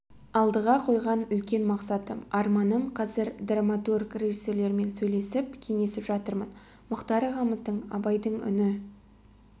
алдыға қойған үлкен мақсатым арманым қазір драматург режиссерлермен сөйлесіп кеңесіп жатырмын мұхтар ағамыздың абайдың үні